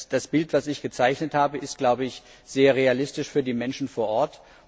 Das Bild, das ich gezeichnet habe, ist, glaube ich, sehr realistisch für die Menschen vor Ort.